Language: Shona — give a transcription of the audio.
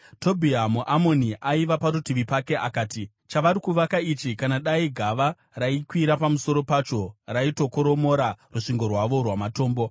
Tobhia muAmoni, aiva parutivi pake, akati, “Chavari kuvaka ichi, kana dai gava raikwira pamusoro pacho, raitokoromora rusvingo rwavo rwamatombo!”